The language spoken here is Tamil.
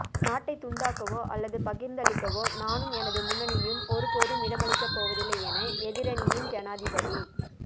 நாட்டை துண்டாக்கவோ அல்லது பகிர்ந்தளிக்கவோ நானும் எனது முன்னணியும் ஒருபோதும் இடமளிக்கப்போவதில்லை என எதிரணியின் ஜனாதிபதி